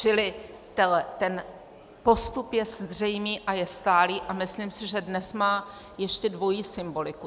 Čili ten postup je zřejmý a je stálý a myslím si, že dnes má ještě dvojí symboliku.